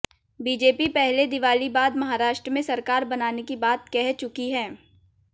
BJP पहले दिवाली बाद महाराष्ट्र में सरकार बनाने की बात कह चुकी है